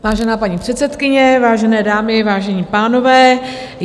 Vážená paní předsedkyně, vážené dámy, vážení pánové.